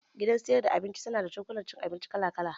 Gidan sayar da abinci na da cokula cin abinci kala kala